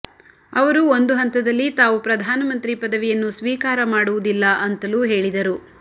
ಅವರು ಒಂದು ಹಂತದಲ್ಲಿ ತಾವು ಪ್ರಧಾನ ಮಂತ್ರಿ ಪದವಿಯನ್ನು ಸ್ವೀಕಾರ ಮಾಡುವುದಿಲ್ಲ ಅಂತಲೂ ಹೇಳಿದರು